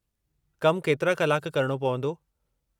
कमु केतिरा कलाक करणो पवंदो?